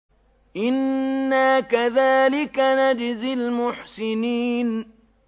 إِنَّا كَذَٰلِكَ نَجْزِي الْمُحْسِنِينَ